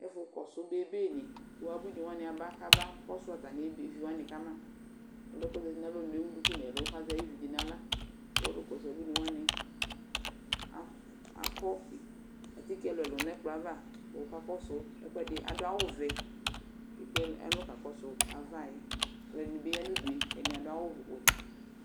Ɛfʋ kɔsʋ bebenɩ kʋ abuinɩ wanɩ aba kabakɔsʋ atamɩ be evi wanɩ ka ma Ɔlʋ yɛ kʋ ɔzati nʋ alɔnu yɛ ewu duku nʋ ɛlʋ kʋ azɛ ayʋ evidze yɛ nʋ aɣla kʋ ɔlʋ kɔsʋ abuinɩ wanɩ akʋ akɔ atike ɛlʋ-ɛlʋ nʋ ɛkplɔ yɛ ava kʋ ɔkakɔsʋ ɛkʋɛdɩ, adʋ awʋvɛ kʋ ekple ɛlʋ alɔ kakɔsʋ ava yɛ Alʋɛdɩnɩ bɩ ya nʋ udu yɛ kʋ ɛdɩnɩ adʋ awʋwɛ